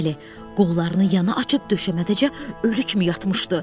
Bəli, qollarını yana açıb döşəməcə ölü kimi yatmışdı.